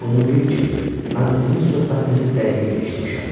Bunu bil ki, mən sizin söhbətinizi dəqiqliklə eşitmişəm.